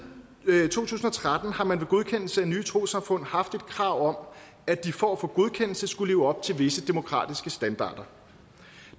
to tusind og tretten har man ved godkendelse af nye trossamfund haft et krav om at de for at få godkendelse skulle leve op til visse demokratiske standarder